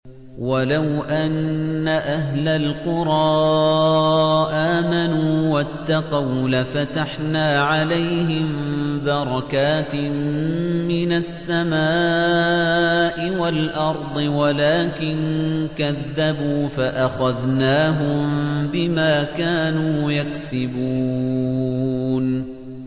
وَلَوْ أَنَّ أَهْلَ الْقُرَىٰ آمَنُوا وَاتَّقَوْا لَفَتَحْنَا عَلَيْهِم بَرَكَاتٍ مِّنَ السَّمَاءِ وَالْأَرْضِ وَلَٰكِن كَذَّبُوا فَأَخَذْنَاهُم بِمَا كَانُوا يَكْسِبُونَ